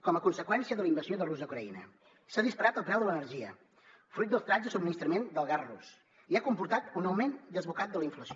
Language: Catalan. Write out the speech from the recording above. com a conseqüència de la invasió de rússia a ucraïna s’ha disparat el preu de l’energia fruit dels talls de subministrament del gas rus i ha comportat un augment desbocat de la inflació